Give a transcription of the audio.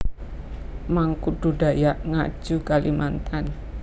Mangkudu Dayak Ngaju Kalimantan